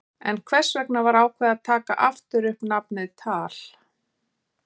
En hvers vegna var ákveðið að taka aftur upp nafnið TAL?